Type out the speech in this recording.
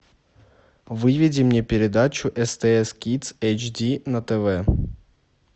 выведи мне передачу стс кидс эйч ди на тв